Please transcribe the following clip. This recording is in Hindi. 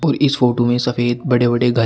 और इस फोटो में सफेद बड़े बड़े घर --